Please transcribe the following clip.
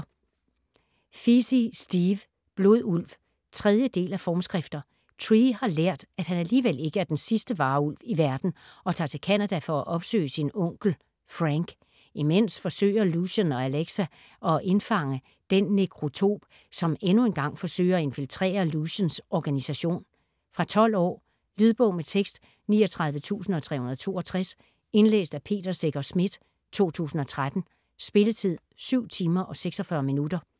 Feasey, Steve: Blodulv 3. del af Formskrifter. Trey har lært at han alligevel ikke er den sidste varulv i verden, og tager til Canada for at opsøge sin onkel, Frank. Imens forsøger Lucien og Alexa at indfange den Nekrotop som endnu en gang forsøger at infiltrere Luciens organisation. Fra 12 år. Lydbog med tekst 39362 Indlæst af Peter Secher Schmidt, 2013. Spilletid: 7 timer, 46 minutter.